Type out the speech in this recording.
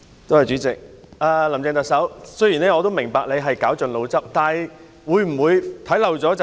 主席，特首，雖然我明白你已絞盡腦汁，但會否看漏眼？